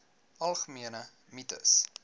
algemene mites